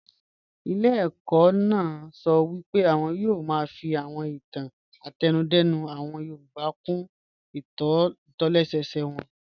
Ilé ẹ̀kọ́ náà sọ pé àwọn yóò máa fi àwọn ìtàn àtẹnudẹ́nu àwọn yorùbá kún ìtòlẹ́sẹẹsẹ wọn